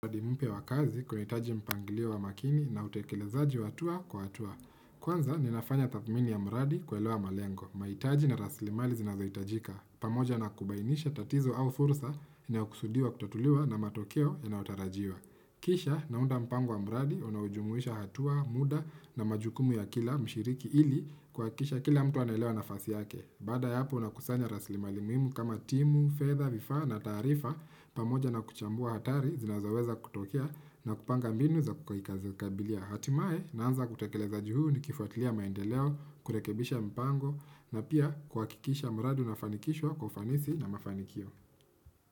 Mwadi mpya wakazi kuna hitaji mpangiliio wa makini na utekelezaji wa hatua kwa hatua. Kwanza ninafanya tathmini ya mradi kuelewa malengo. Mahitaji na rasilimali zinazohitajika. Pamoja nakubainisha tatizo au furusa, inayokusudiwa kutatuliwa na matokeo yanayotarajiwa. Kisha naunda mpango wa mradi, unaujumuisha hatua, muda na majukumu ya kila mshiriki ili kuhakikisha kila mtu analewa nafasi yake. Baada ya hapo unakusanya rasilimali muhimu kama timu, fedha, vifaa na taarifa, pamoja na kuchambua hatari zinazoweza kutokea na kupanga mbinu za kabilia hatimaye naanza kutekeleza juu ni kifuatilia maendeleo, kurekebisha mpango na pia kwa hakikisha mradi unafanikishwa kwa ufanisi na mafanikio.